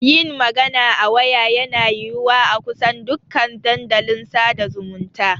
Yin magana a waya yana yiwuwa a kusan dukan dandalin sada zumunta.